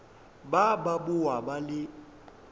ba ba boa ba le